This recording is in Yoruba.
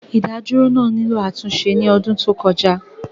Ìdádúró náà nílò àtúnṣe ní ọdún tó kọjá